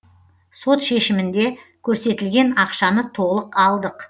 сот шешімінде көрсетілген ақшаны толық алдық